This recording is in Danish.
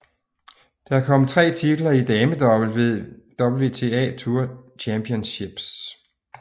Der til kom tre titler i damedouble ved WTA Tour Championships